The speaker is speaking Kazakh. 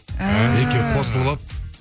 әәә екеуі қосылып алып